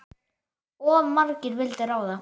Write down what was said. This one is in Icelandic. Of margir vildu ráða.